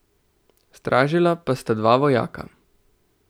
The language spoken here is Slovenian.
Stražila pa sta dva vojaka.